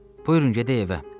Buyurun, gedək evə.